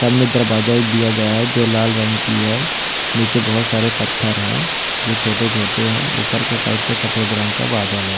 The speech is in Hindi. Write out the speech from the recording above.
सामने दरवाजा एक दिया गया है जो लाल रंग की है नीचे बहुत सारे पत्थर है जो छोटे-छोटे है ऊपर के साइड पे सफेद रंग का बादल है।